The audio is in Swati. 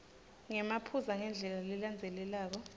ngemaphuzu ngendlela lelandzelelako